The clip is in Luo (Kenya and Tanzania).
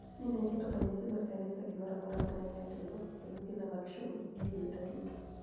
ni e aketo raniyisi mar kaniisa e gimoro amora ma ni e atimo, ebugenia mag shulr, gi e denida duto .